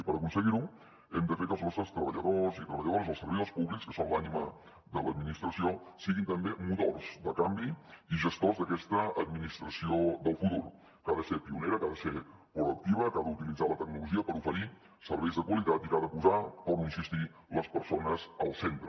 i per aconseguir ho hem de fer que els nostres treballadors i treballadores els servidors públics que són l’ànima de l’administració siguin també motors de canvi i gestors d’aquesta administració del futur que ha de ser pionera que ha de ser proactiva que ha d’utilitzar la tecnologia per oferir serveis de qualitat i que ha de posar hi torno a insistir les persones al centre